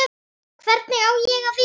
Hvernig á ég að vera?